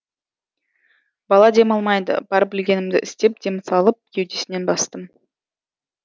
бала демалмайды бар білгенімді істеп дем салып кеудесінен бастым